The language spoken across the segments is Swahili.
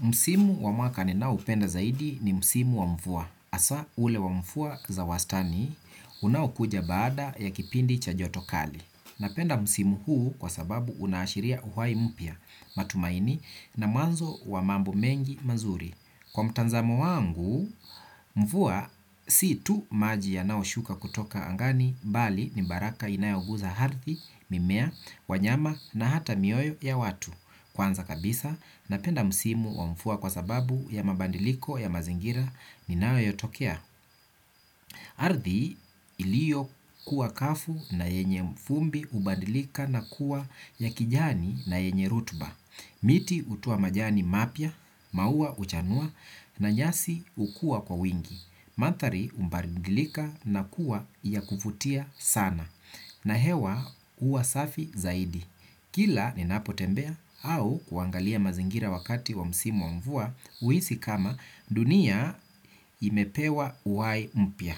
Msimu wa mwaka ninao upenda zaidi ni msimu wa mvua. Hasa ule wa mvua za wastani, unaokuja baada ya kipindi cha joto kali. Napenda msimu huu kwa sababu unaashiria uhai mpya, matumaini na mwanzo wa mambo mengi mazuri. Kwa mtazamo wangu, mvua si tu maji yanayoshuka kutoka angani bali ni baraka inayoguza ardhi, mimea, wanyama na hata mioyo ya watu. Kwanza kabisa, napenda msimu wa mvua kwa sababu ya mabadiliko ya mazingira ninayotokea. Ardhi iliyo kuwa kavu na yenye vumbi hubadilika na kuwa ya kijani na yenye rutuba. Miti hutoa majani mapya, mauwa huchanua na nyasi hukuwa kwa wingi. Mandhari hubaridilika na kuwa ya kuvutia sana. Na hewa huwa safi zaidi. Kila ninapotembea au kuangalia mazingira wakati wa msimu wa mvua huhisi kama dunia imepewa uhai mpya.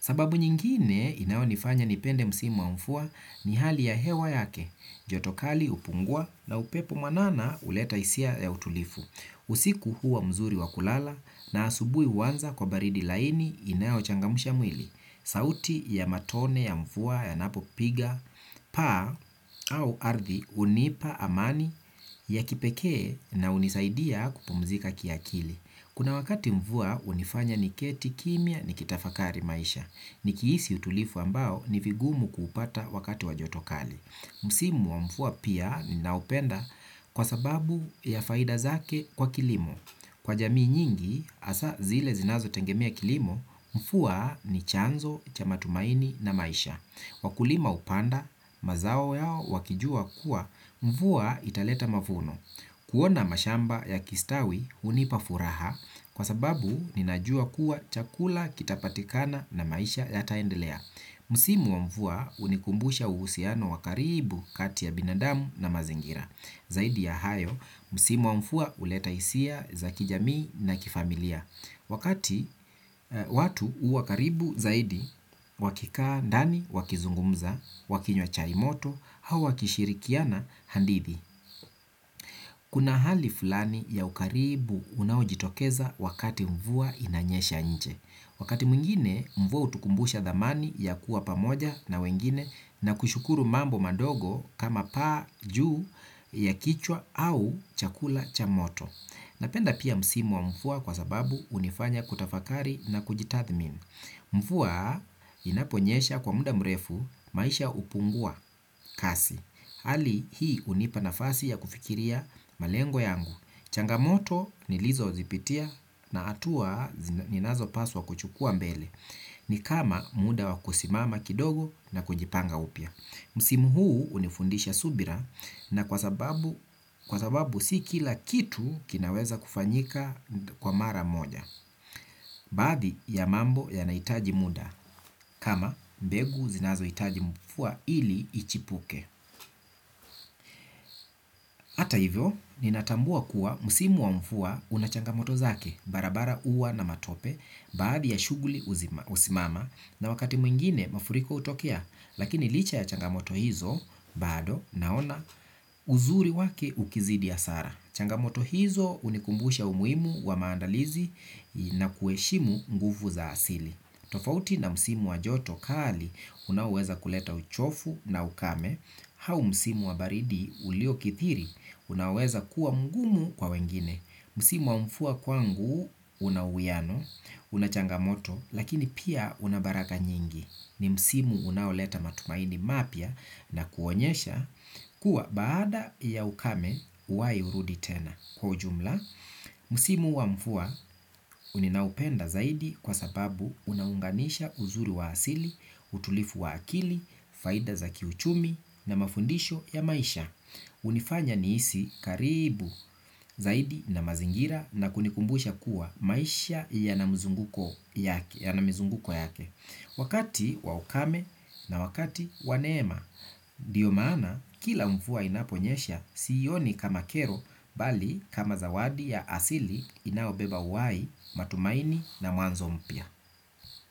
Sababu nyingine inayonifanya nipende msimu wa mvua ni hali ya hewa yake. Joto kali hupungua na upepo mwanana huleta hisia ya utulivu. Usiku huwa mzuri wa kulala na asubuhi huanza kwa baridi laini inayochangamsha mwili. Sauti ya matone ya mvua yanapopiga paa au ardhi hunipa amani ya kipekee na hunisaidia kupumzika kiakili. Kuna wakati mvua hunifanya niketi kimya nikitafakari maisha. Nikihisi utulivu ambao ni vigumu kupata wakati wa joto kali. Msimu wa mvua pia ninaopenda kwa sababu ya faida zake kwa kilimo. Kwa jamii nyingi hasa zile zinazo tegemea kilimo mvua ni chanzo cha matumaini na maisha. Wakulima hupanda mazao yao wakijua kuwa mvua italeta mavuno. Kuona mashamba yakistawi hunipafuraha kwa sababu ninajua kuwa chakula kitapatikana na maisha yataendelea. Msimu wa mvua hunikumbusha uhusiano wa karibu kati ya binadamu na mazingira. Zaidi ya hayo, msimu wa mvua huleta hisia za kijamii na kifamilia. Wakati watu huwa karibu zaidi, wakikaa ndani, wakizungumza, wakinywa chai moto, au wakishirikiana hadithi. Kuna hali fulani ya ukaribu unawojitokeza wakati mvua inanyesha nje. Wakati mwingine mvua hutukumbusha dhamani ya kuwa pamoja na wengine na kushukuru mambo madogo kama paa juu ya kichwa au chakula cha moto. Napenda pia msimu wa mvua kwa sababu hunifanya kutafakari na kujitathmin. Mvua inaponyesha kwa muda mrefu maisha hupungua kasi. Hali hii hunipa nafasi ya kufikiria malengo yangu. Changamoto nilizo zipitia na hatua ninazo paswa kuchukua mbele. Ni kama muda wa kusimama kidogo na kujipanga upya. Msimu huu hunifundisha subira na kwa sababu si kila kitu kinaweza kufanyika kwa mara moja. Baadhi ya mambo yanahitaji muda. Kama mbegu zinazohitaji mvua ili ichipuke hata hivyo, ninatambua kuwa msimu wa mvua una changamoto zake. Barabara huwa na matope. Baadhi ya shughuli husimama. Na wakati mwingine mafuriko hutokea. Lakini licha ya changamoto hizo bado naona uzuri wake ukizidi hasara. Changamoto hizo hunikumbusha umuhimu wa maandalizi. Na kuheshimu nguvu za asili. Tofauti na msimu wa joto kali unaoweza kuleta uchovu na ukame, au msimu wa baridi ulio kithiri unaoweza kuwa mgumu kwa wengine. Msimu wa mvua kwangu una uwiano, una changamoto, lakini pia una baraka nyingi. Ni msimu unaoleta matumaini mapya na kuonyesha kuwa baada ya ukame uhai hurudi tena. Kwa ujumla, musimu wa mvua ninaupenda zaidi kwa sababu unaunganisha uzuri wa asili, utulivu wa akili, faida za kiuchumi na mafundisho ya maisha hunifanya nihisi karibu zaidi na mazingira na kunikumbusha kuwa maisha yana mizunguko yake. Wakati wa ukame na wakati wa neema, ndiyo maana kila mvua inaponyesha siioni kama kero bali kama zawadi ya asili inaobeba uhai, matumaini na mwanzo mpya.